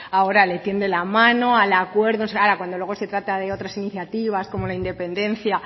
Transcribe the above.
ahora le tiende la mano al acuerdo ahora que cuando se trata de otras iniciativas como la independencia